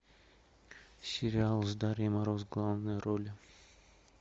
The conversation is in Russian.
сериал с дарьей мороз в главной роли